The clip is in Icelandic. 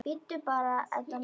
Bíddu bara, Edda mín.